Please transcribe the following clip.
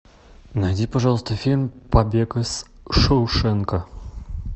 найди пожалуйста фильм побег из шоушенка